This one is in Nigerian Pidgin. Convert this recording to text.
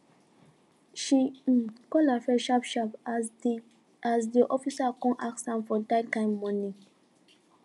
she um call her friend sharp sharp as de as de officer com ask am for dah kin monie